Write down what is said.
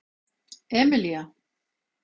Emilía